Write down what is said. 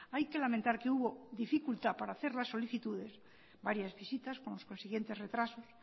hay que lamentar que hubo dificultad para hacer las solicitudes varias visitas con los consiguientes retrasos